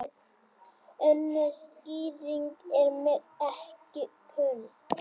Önnur skýring er mér ekki kunn.